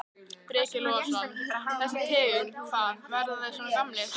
Breki Logason: Þessi tegund, hvað, verða þeir svona gamlir?